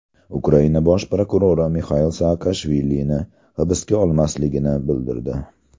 Ukraina bosh prokurori Mixail Saakashvili hibsga olinmasligini bildirdi.